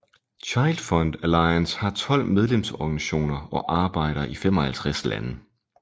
ChildFund Alliance har 12 medlemsorganisationer og arbejder i 55 lande